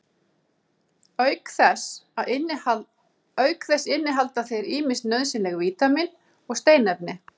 auk þess innihalda þeir ýmis nauðsynleg vítamín og steinefni